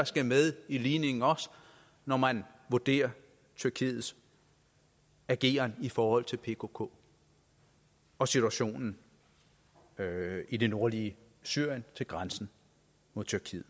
skal med i ligningen når man vurderer tyrkiets ageren i forhold til pkk og situationen i det nordlige syrien ved grænsen mod tyrkiet